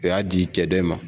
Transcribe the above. U y'a di cɛ dɔ in ma.